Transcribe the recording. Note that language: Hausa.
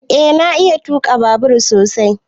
Eh na iya tuka babur sosai.